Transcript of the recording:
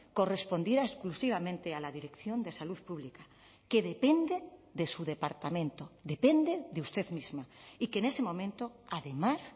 correspondiera exclusivamente a la dirección de salud pública que depende de su departamento depende de usted misma y que en ese momento además